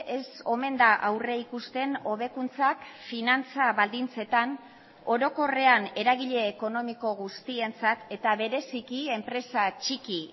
ez omen da aurrikusten hobekuntzak finantza baldintzetan orokorrean eragile ekonomiko guztientzat eta bereziki enpresa txiki